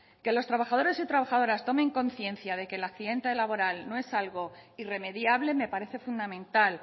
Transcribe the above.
que los trabajadores y trabajadoras tomen conciencia de que el accidente laboral no es algo irremediable me parece fundamental